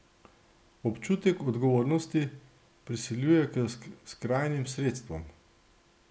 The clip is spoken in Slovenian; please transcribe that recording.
Občutek odgovornosti prisiljuje k skrajnim sredstvom.